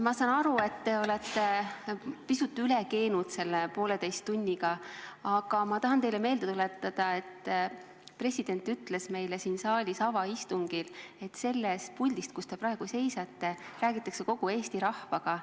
Ma saan aru, et te olete selle poolteise tunniga pisut üle keenud, aga ma tahan teile meelde tuletada, et president ütles meile siin saalis peetud avaistungil, et sellest puldist, kus te praegu seisate, räägitakse kogu Eesti rahvaga.